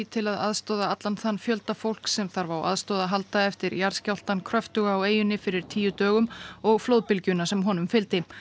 til að aðstoða allan þann fjölda fólks sem þarf á aðstoð að halda eftir jarðskjálftann kröftuga á eyjunni fyrir tíu dögum og flóðbygjuna sem honum fylgdi